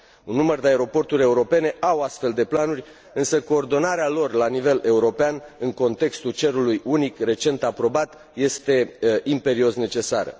Un număr de aeroporturi europene au astfel de planuri, însă coordonarea lor la nivel european, în contextul cerului unic recent aprobat, este imperios necesară.